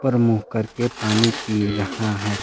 ऊपर मुंह करके पानी पी रहा है।